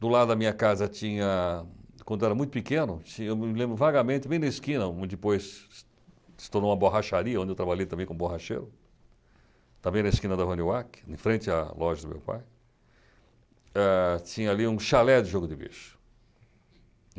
Do lado da minha casa tinha, quando eu era muito pequeno, tinha eu me lembro vagamente, bem na esquina, onde depois se tornou uma borracharia, onde eu trabalhei também como borracheiro, também na esquina da, em frente à loja do meu pai, ah tinha ali um chalé de jogo de bicho.